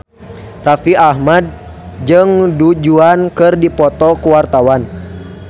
Raffi Ahmad jeung Du Juan keur dipoto ku wartawan